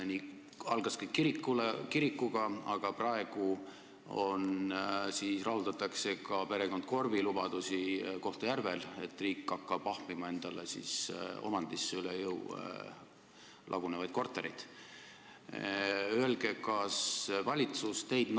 Asi algas kirikuga, aga praegu täidetakse ka perekond Korbi lubadusi Kohtla-Järvel: riik hakkab endale omandisse ahmima lagunevaid kortereid, mis talle üle jõu käivad.